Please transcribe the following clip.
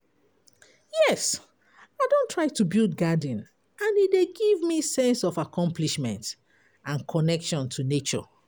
yes, i don try to build garden, and e dey give me sense of accomplishment and connection to nature.